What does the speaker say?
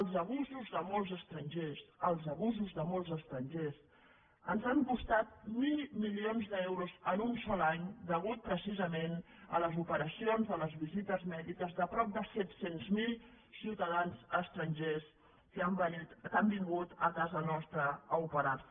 els abusos de molts estrangers els abusos de molts estrangers ens han costat mil milions d’euros en un sol any a causa precisament de les operacions de les visites mèdiques de prop de set cents miler ciutadans estrangers que han vingut a casa nostra a operar se